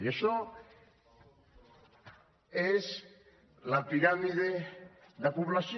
i això és la piràmide de població